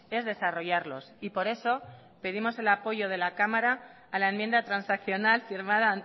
es desarrollarlos y por eso pedimos el apoyo de la cámara a la enmienda transaccional firmada